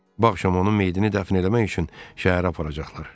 Bu axşam onun meyitini dəfn eləmək üçün şəhərə aparacaqlar.